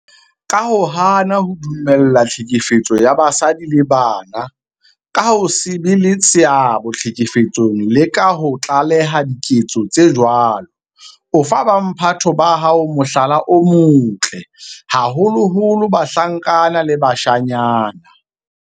Ka ho hana ho dumella tlhekefetso ya basadi le bana, ka ho se be le seabo tlhekefetsong le ka ho tlaleha diketso tse jwalo, o fa bo mphato ba hao mohlala o motle, haholoholo bahlankana le bashanyana.